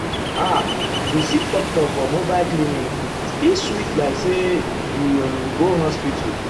ah to see doctor for mobile clinic still sweet like say you um um go hospital.